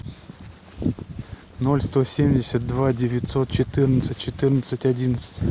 ноль сто семьдесят два девятьсот четырнадцать четырнадцать одиннадцать